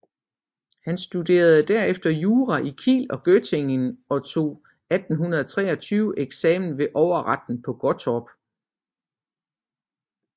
Han studerede derefter jura i Kiel og Göttingen og tog 1823 eksamen ved overretten på Gottorp